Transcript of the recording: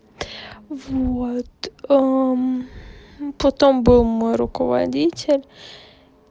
вот потом был мой руководитель